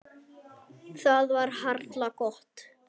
Það var harla gott.